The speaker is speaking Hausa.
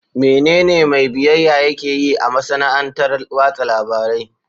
Menene mai biyayya yake yi a masana'antar watsa labarai?